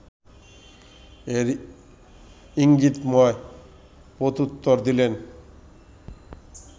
এর ‘ইঙ্গিতময় প্রত্যুত্তর’ দিলেন